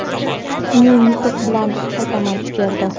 men yutuq bilan qaytaman, derdi.